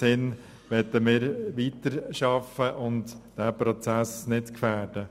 In diesem Sinn möchten wir weiterarbeiten und diesen Prozess nicht gefährden.